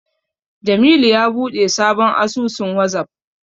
Jamilu ya buɗe sabon asusun Wazaf.